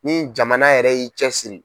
Ni jamana yɛrɛ y'i cɛ siri.